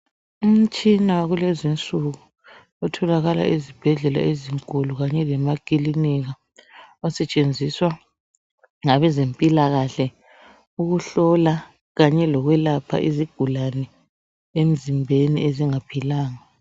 Umtshina wakulezi insuku otholakala ezibhedllela ezinkulu kanye lamakilinika osetshenziswa ngabezempilakahle ukuhlola kanye lokwelapha izigulane emzimbeni ezingaphilanga.